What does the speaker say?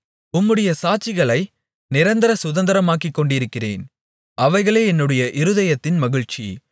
உம்முடைய சாட்சிகளை நிரந்தர சுதந்தரமாக்கிக்கொண்டிருக்கிறேன் அவைகளே என்னுடைய இருதயத்தின் மகிழ்ச்சி